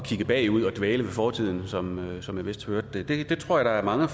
kigge bagud og dvæle ved fortiden som som jeg vist hørte det jeg tror der er mange